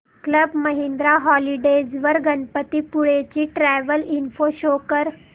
club Mahindra holidays वर गणपतीपुळे ची travel info show कर